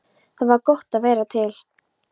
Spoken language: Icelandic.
Það var gott að vera til.